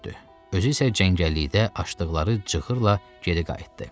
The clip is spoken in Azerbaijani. Özü isə cəngəllikdə açdıqları cığırla geri qayıtdı.